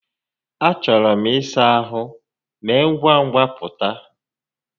A chọrọ m ịsa ahụ, mee ngwa ngwa pụta.